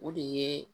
O de ye